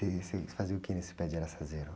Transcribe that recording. E você fazia o que nesse pé de araçazeiro?